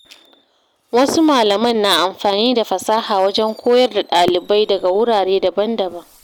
Wasu malaman na amfani da fasaha wajen koyar da ɗalibai daga wurare daban-daban.